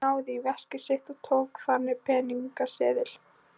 Hún náði í veskið sitt og tók þaðan peningaseðil.